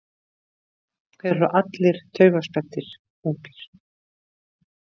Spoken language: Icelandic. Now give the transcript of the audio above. Þeir eru allir taugaspenntir, ungir.